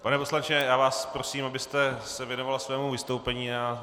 Pane poslanče, já vás prosím, abyste se věnoval svému vystoupení.